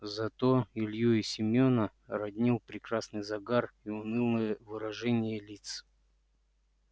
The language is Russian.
зато илью и семёна роднил прекрасный загар и унылое выражение лиц